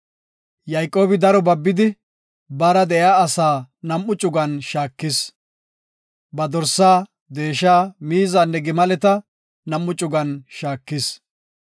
Yayqoobi daro babidi baara de7iya asa nam7u cugan shaakis. Ba dorsa, deesha, miizanne gimaleta nam7u cugan shaakis.